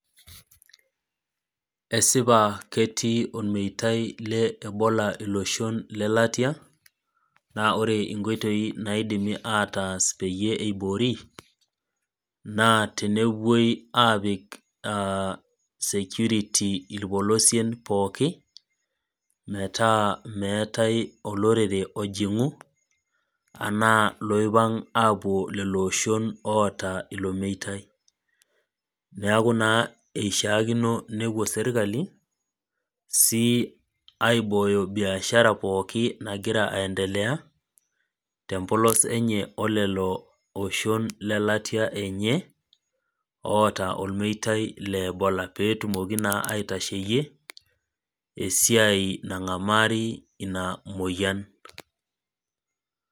Esipata etii ormeitai le ebola iloshon lelatia naa ore nkoitoi naidimi ataas peyie eiboori naa teneupoi aapik aaa security irpolosien pooki metaa meetai olorere ojingu anaa iloipang aapuo ilooshon oota ilo meitai. Niaku naa eishiakino nepuo sirkali sii aibooyo biashara pooki nagira aendelea siininye olelo oshon lelatia enye oota olmeitai le Ebola pee etumoki naa aitasheyie esiai nangamari ina moyian